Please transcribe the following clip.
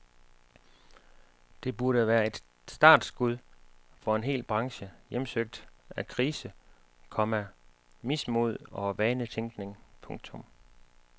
Det burde være et startskud for en hel branche hjemsøgt af krise, komma mismod og vanetænkning. punktum